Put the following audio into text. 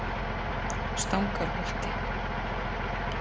Stangarholti